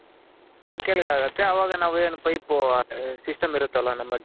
ಕೆಳ್ಗ್ ಆಗುತ್ತೆ ಅವಾಗ ನಾವೇನು Pipe System ಇರುತ್ತಲ್ಲ ನಮ್ಮ